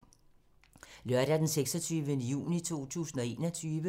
Lørdag d. 26. juni 2021